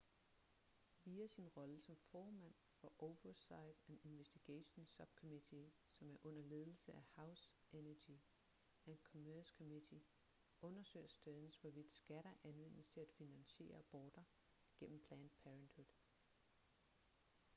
via sin rolle som formand for oversight and investigations subcommittee som er under ledelse af house energy and commerce committe undersøger stearns hvorvidt skatter anvendes til at finansiere aborter gennem planned parenthood